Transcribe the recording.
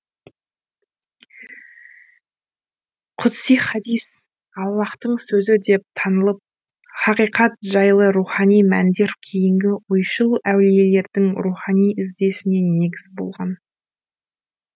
құдси хадис аллаһтың сөзі деп танылып хақиқат жайлы рухани мәндер кейінгі ойшыл әулиелердің рухани іздесіне негіз болған